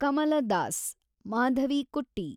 ಕಮಲ Das (ಮಾಧವಿಕುಟ್ಟಿ)